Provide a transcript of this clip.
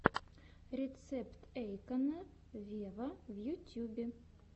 рецепт эйкона вево в ютюбе